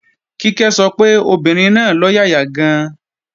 Kíkẹ́ sọ pé obìnrin náà lọ́yàyà gan-an